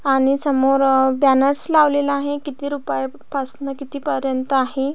आणि समोर अ बॅनर्स लावलेला आहे किती रुपया प पासनं किती पर्यंत आहे.